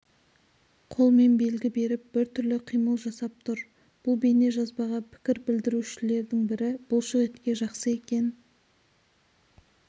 қолмен белгі беріп біртүрлі қимыл жасап тұр бұл бейнежазбаға пікір білдірушілердің бірі бұлшық етке жақсы екен